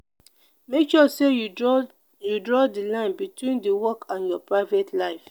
make sure say you draw you draw the line between di work and your private life